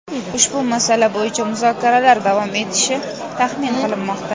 ushbu masala bo‘yicha muzokaralar davom etishi taxmin qilinmoqda.